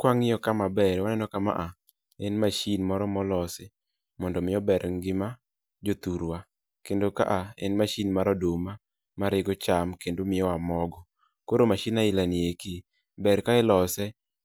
Kwang'iyo ka maber waneno ka ma a en mashin moro molosi mondo mi ober ngima jothurwa. Kendo ka a en mashin mar oduma ma rego cham kendo miyowa mogo. Koro mashin aila nieki, ber ka ilose